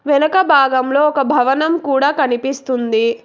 వెనక భాగంలో ఒక భవనం కూడా కనిపిస్తుంది.